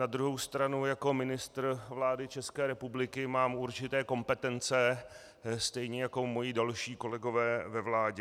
Na druhou stranu jako ministr vlády České republiky mám určité kompetence, stejně jako moji další kolegové ve vládě.